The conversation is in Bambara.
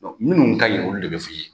minnu kaɲi olu de bɛ f'i ye.